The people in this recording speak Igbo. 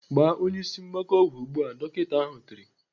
"Gbaa onye ịsị mgbaka ọgwụ ugbu a!" Dọkịta ahụ tiri.